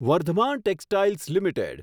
Vardhman textiles limited